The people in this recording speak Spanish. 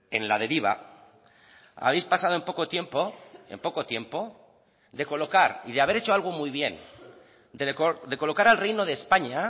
en la deriva habéis pasado en poco tiempo en poco tiempo de colocar y de haber hecho algo muy bien de colocar al reino de españa